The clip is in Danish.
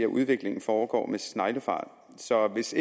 udviklingen foregår med sneglefart så hvis